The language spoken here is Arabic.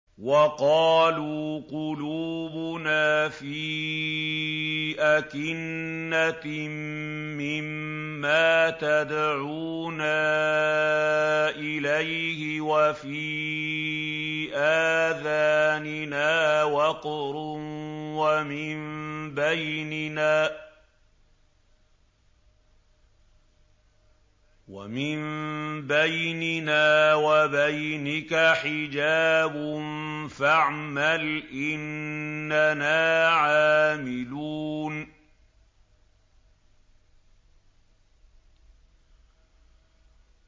وَقَالُوا قُلُوبُنَا فِي أَكِنَّةٍ مِّمَّا تَدْعُونَا إِلَيْهِ وَفِي آذَانِنَا وَقْرٌ وَمِن بَيْنِنَا وَبَيْنِكَ حِجَابٌ فَاعْمَلْ إِنَّنَا عَامِلُونَ